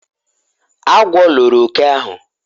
agwo loro oke ahu